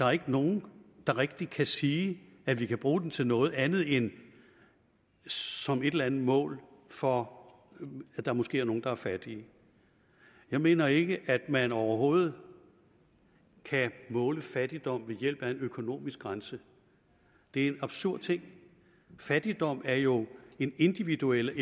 er nogen der rigtig kan sige at vi kan bruge den til noget andet end som et eller andet mål for at der måske er nogle der er fattige jeg mener ikke at man overhovedet kan måle fattigdom ved hjælp af en økonomisk grænse det er en absurd ting fattigdom er jo en individuel